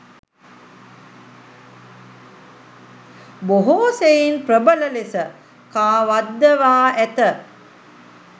බොහෝ සෙයින් ප්‍රබල ලෙස කාවද්දවා ඇත.